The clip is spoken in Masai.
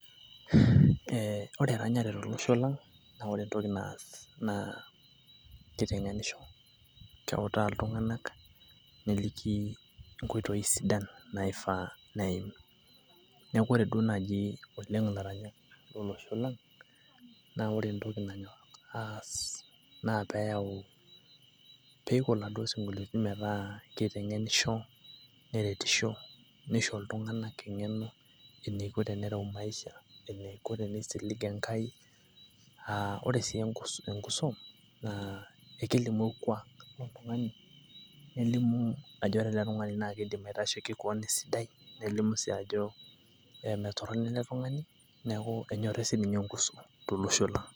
ee ore eranyare tolosho lang naa kitengenisho, keutaa iltunganak ,neliki nkoitoi sidan naifaa neim. niaku ore duo naji oleng ilaranyak lolosho lang naa ore entoki nanyorr aas naa peyau peiko iladuoo sinkoliotin metaa kitengenisho ,neretisho ,neisho iltunganak engeno eneiko tenereu maisha ,eneiko tenisilig enkai . aa ore sii enkuso naa ekelimu orkuak lolotungani ,nelimu ajo ore ele tungani naa keidim aitasheiki kewon esidai nelimu sii ajo ee mme torono ele tungani niaku enyori sininye enkuso